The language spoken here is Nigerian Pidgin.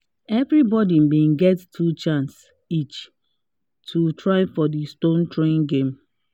every body been get two chance each to try for the stone throwing game